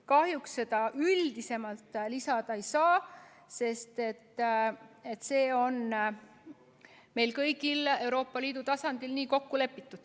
Kahjuks seda üldisemalt lisada ei saa, sest see on meil kõigil Euroopa Liidu tasandil nii kokku lepitud.